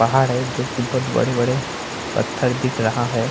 पहाड़ है जो की बहुत बड़े-बड़े पत्थर दिख रहा है।